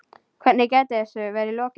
Hvernig gæti þessu verið lokið?